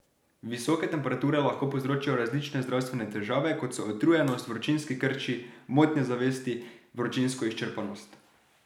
Visoke temperature lahko povzročijo različne zdravstvene težave, kot so utrujenost, vročinski krči, motnje zavesti, vročinsko izčrpanost.